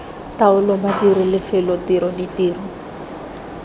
taolo badiri lefelo tiro ditiro